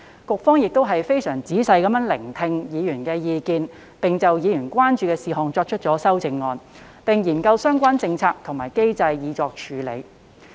局方非常仔細聆聽委員的意見，就委員關注的事項提出修正案，並研究相關政策及機制以作處理。